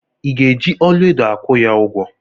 Ị ga-eji ọlaedo akwụ ya ụgwọ?